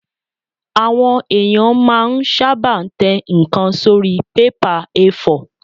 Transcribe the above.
Àwọn èèyàn máa n sáábà tẹ ǹkan sórí bébà A4